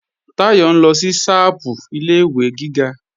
Táyọ̀ ń lọ sí ṣápù ilé-ìwé gíga